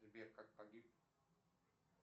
сбер как погиб